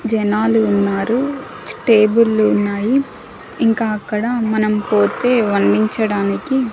జనాలు ఉన్నారు టేబుల్లు ఉన్నాయి ఇంకా అక్కడ మనం పోతే వర్ణించడానికి--